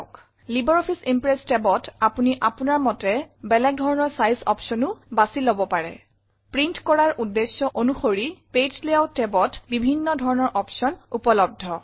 LibreOffice Impress tabঅত আপুনি আপুনাৰ মতে বেলেগ ধৰনৰ চাইজ অপচনো বাচি লব পাৰে প্ৰিণ্ট কৰাৰ উদ্দেশ্য অনুসৰি পেজ লেয়াউট tabত বিভিন্ন ধৰণৰ অপশ্যন উপলব্ধ